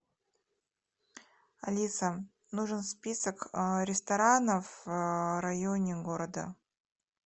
алиса нужен список ресторанов в районе города